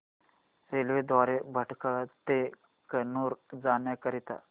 railway द्वारे भटकळ ते कन्नूर जाण्या करीता